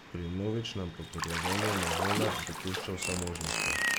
Pri vnovičnem potrjevanju novele pa dopušča vse možnosti.